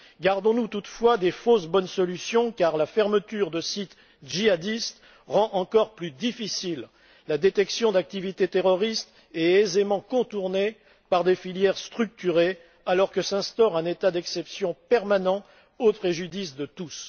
Gardons nous toutefois des fausses bonnes solutions, car la fermeture de sites djihadistes rend encore plus difficile la détection d'activités terroristes et est aisément contournée par des filières structurées, alors que s'instaure un état d'exception permanent au préjudice de tous.